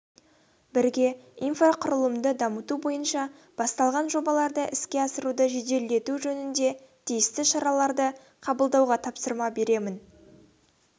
бірге инфрақұрылымды дамыту бойынша басталған жобаларды іске асыруды жеделдету жөнінде тиісті шараларды қабылдауға тапсырма беремін